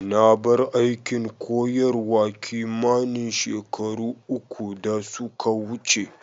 Na bar aikin koyarwa kimanin shekaru uku da suka wuce.